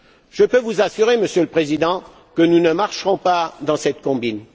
Je peux vous assurer, Monsieur le Président, que nous ne marcherons pas dans cette combine.